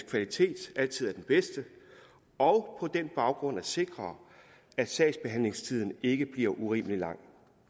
kvalitet altid er den bedste og på den baggrund vil sikre at sagsbehandlingstiden ikke bliver urimelig lang